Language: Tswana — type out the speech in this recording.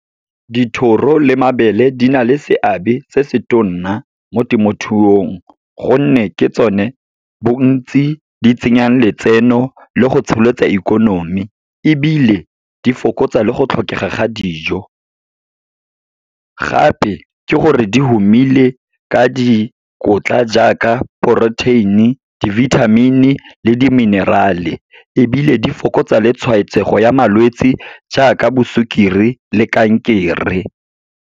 Dithoro le mabele di na le seabe se se tona mo temothuong, gonne ke tsone bontsi di tsenyang letseno le go tsholetsa ikonomi, ebile di fokotsa le go tlhokega ga dijo. Gape ke gore di humile ka dikotla, jaaka protein-e, di-vitamin-e le di-mineral-e, ebile di fokotsa le tshwaetsego ya malwetse, jaaka bo sukiri le kankere.